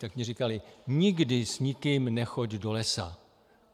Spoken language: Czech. Tak mi říkali: Nikdy s nikým nechoď do lesa.